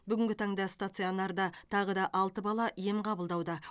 бүгінгі таңда станционарда тағы да алты бала ем қабылдауда